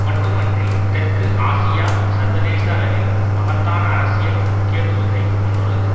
மட்டும் அன்றி தெற்கு ஆசியா சர்வதேச அளவிலும் மகத்தான அரசியல் முக்கியத்துவத்தை கொண்டுள்ளது